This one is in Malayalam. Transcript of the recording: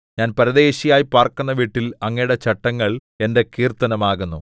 ഞാൻ പരദേശിയായി പാർക്കുന്ന വീട്ടിൽ അങ്ങയുടെ ചട്ടങ്ങൾ എന്റെ കീർത്തനം ആകുന്നു